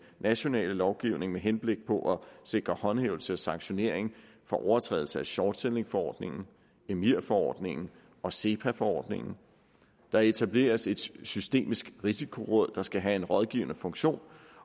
nationale lovgivning med henblik på at sikre håndhævelse og sanktionering for overtrædelse af shortsellingforordningen emir forordningen og sepa forordningen der etableres et systemisk risikoråd de skal have en rådgivende funktion